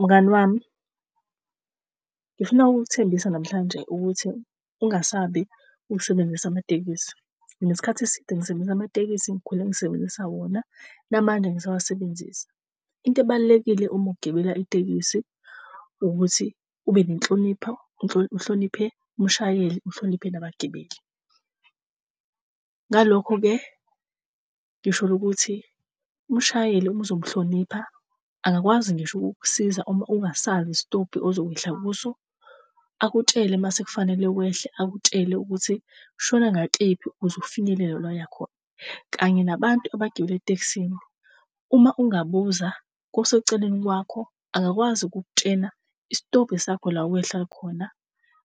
Mngani wami, ngifuna ukukuthembisa namhlanje ukuthi ungasabi ukusebenzisa amatekisi. Nginesikhathi esinde ngisebenzisa amatekisi ngikhule ngisebenzisa wona, namanje ngisawasebenzisa. Into ebalulekile uma ukugibela itekisi ukuthi ube nenhlonipho, uhloniphe umshayeli, uhloniphe nabagibeli. Ngalokho-ke ngisholo ukuthi, umshayeli uma uzomuhlonipha angakwazi ngisho ukukusiza uma ungasazi istobhi uzokwehla kuso, akutshele mase kufanele wehle. Akutshele ukuthi shone ngakephi ukuze ufinyelele la oyakhona. Kanye nabantu abagibele etekisini, uma ungabuza koseceleni kwakho, angakwazi ukukutshena isitobhi sakho la owehla khona.